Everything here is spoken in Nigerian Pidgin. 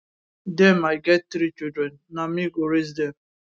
dem i get three children na me go raise dem